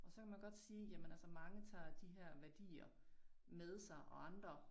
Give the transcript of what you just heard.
Og så kan man godt sige jamen altså mange tager de her værdier med sig og andre